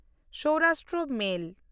Saurashtra ᱢᱮᱞ